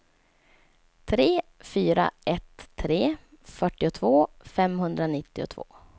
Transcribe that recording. tre fyra ett tre fyrtiotvå femhundranittiotvå